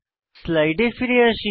স্লাইডে ফিরে যাই